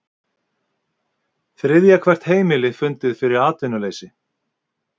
Þriðja hvert heimili fundið fyrir atvinnuleysi